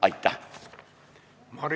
Aitäh!